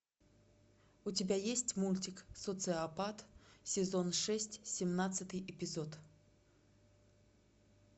у тебя есть мультик социопат сезон шесть семнадцатый эпизод